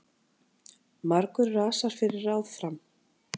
Margur rasar fyrir ráð fram.